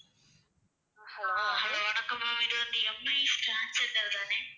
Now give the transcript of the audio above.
hello வணக்கம் ma'am இது வந்து எம்ஏ ஸ்கேன் சென்டர் தானே